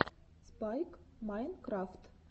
спайк майнкрафт